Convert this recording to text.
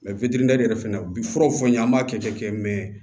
Mɛ yɛrɛ fɛnɛ na u bi furaw fɔ n ye an b'a kɛ kɛ mɛ